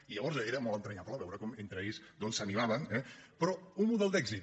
i llavors era molt entranyable veure com entre ells doncs s’animaven eh però un model d’èxit